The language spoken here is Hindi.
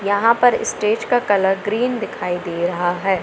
यहां पर स्टेज का कलर ग्रीन दिखाई दे रहा है।